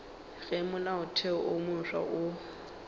ge molaotheo wo mofsa o